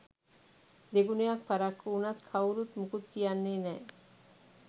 දෙගුණයක් පරක්කු වුනත් කවුරුත් මුකුත් කියන්නේ නෑ